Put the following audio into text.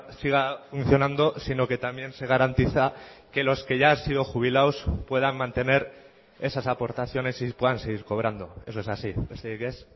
siga funcionando sino que también se garantiza que los que ya han sido jubilados puedan mantener esas aportaciones y puedan seguir cobrando eso es así besterik ez